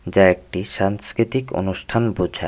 যা একটি সাংস্কৃতিক অনুষ্ঠান বোঝায়।